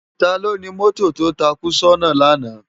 Táló ni mòtó tó tákú sòná làná?